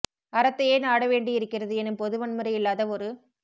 அறத்தையே நாட வேண்டி இருக்கிறது எனும் பொது வன்முறை இல்லாத ஒரு